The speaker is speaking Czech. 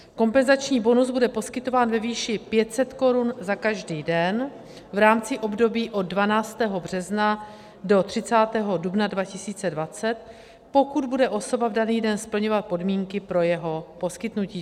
Kompenzační bonus bude poskytován ve výši 500 korun za každý den v rámci období od 12. března do 30. dubna 2020, pokud bude osoba v daný den splňovat podmínky pro jeho poskytnutí.